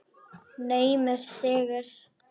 Naumur sigur.